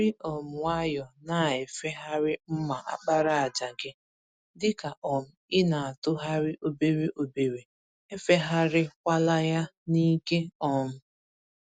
Jírí um nwayọọ na-efegharị mma àkpàràjà gị, dịka um ịnatụgharị obere obere, efegharị kwala ya n'ike. um